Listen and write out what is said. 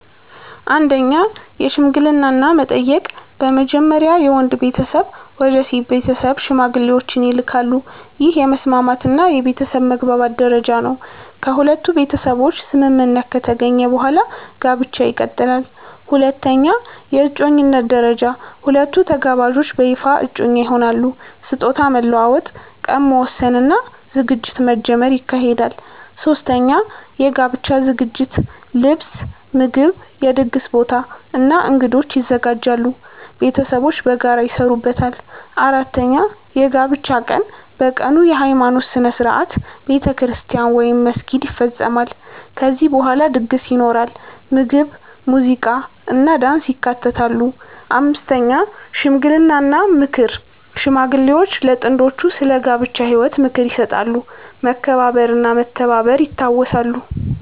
1) የሽምግልና እና መጠየቅ በመጀመሪያ የወንድ ቤተሰብ ወደ ሴት ቤተሰብ ሽማግሌዎችን ይልካሉ። ይህ የመስማማት እና የቤተሰብ መግባባት ደረጃ ነው። ከሁለቱ ቤተሰቦች ስምምነት ከተገኘ በኋላ ጋብቻ ይቀጥላል። 2) የእጮኝነት ደረጃ ሁለቱ ተጋባዦች በይፋ እጮኛ ይሆናሉ። ስጦታ መለዋወጥ፣ ቀን መወሰን እና ዝግጅት መጀመር ይካሄዳል። 3) የጋብቻ ዝግጅት ልብስ፣ ምግብ፣ የድግስ ቦታ እና እንግዶች ይዘጋጃሉ። ቤተሰቦች በጋራ ይሰሩበታል። 4) የጋብቻ ቀን በቀኑ የሃይማኖት ሥነ ሥርዓት (ቤተክርስቲያን ወይም መስጊድ) ይፈጸማል። ከዚያ በኋላ ድግስ ይኖራል፣ ምግብ፣ ሙዚቃ እና ዳንስ ይካተታሉ። 5) ሽምግልና እና ምክር ሽማግሌዎች ለጥንዶቹ ስለ ጋብቻ ህይወት ምክር ይሰጣሉ፣ መከባበር እና መተባበር ይታወሳሉ።